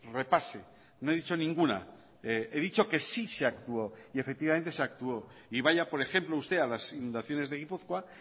repase no he dicho ninguna he dicho que sí se actuó y efectivamente se actuó y vaya por ejemplo usted a las inundaciones de gipuzkoa